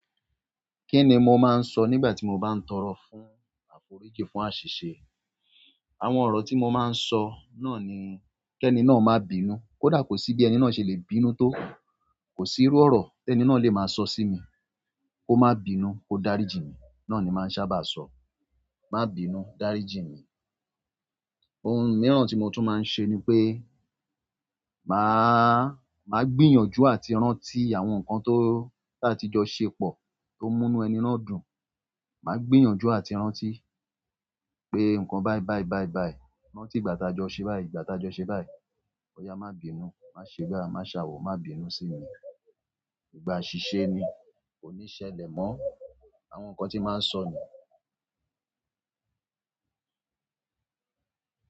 Kí ni mo máa ń sọ nígbà tí mo bá ń tọrọ fún àforíjì fún àṣìṣe? Àwọn ọ̀rọ̀ tí mo máa ń sọ náà ni kí ẹni náà má bínú. Kódà kò sí bí ẹni náà ṣe lè bínú tó kòsí irú ọ̀rọ̀ téni náà lè máa sọ sími, kó má bínú kó dárí jì mí náà ni màá ń ṣábà sọ. Má bínú, dáríjì mi. Ohun mìíràn tí mo tún máa ń ṣe ni pé màá, màá gbìyànjú àti rántí àwọn nǹkan tó taa ti jọ ṣe pọ̀ tó múnú ẹni náà dùn. Màá gbìyànjú àti rántí pé nǹkan báí báí báí báí, rántí ti ìgbà táa jọ ṣe báí, ìgbà taa jọ ṣe báí. Ó yà má bínú, má ṣe bai, má a ṣàwọ̀, má bínú sí mi. Ìgbà àṣìṣe ni, kò níí ṣẹlẹ̀ mọ́. Àwọn nkán tí n máa n sọ ni.